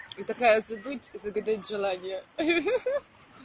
и такая за дуть и загадать желание ха-ха